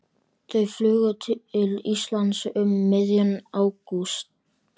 Þau flugu til Íslands um miðjan ágúst.